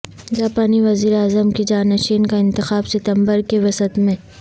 جاپانی وزیراعظم کے جانشین کا انتخاب ستمبر کے وسط میں